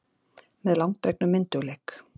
Með langdregnum myndugleik.